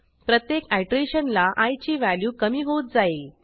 प्रत्येक आयटरेशनला आय ची व्हॅल्यू कमी होत जाईल